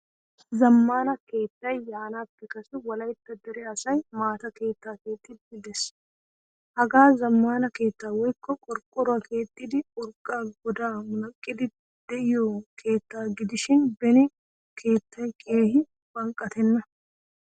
Zamaana keettay yaanappe kase wolaytta dere asay maataa keettaa keexxidi de'ees. Hagee zamaana keetta woykko qorqoruwaa keexxidi urqqa goda munaqqidi deiyo keettaa gidishin beni keettay keehin banqqattena.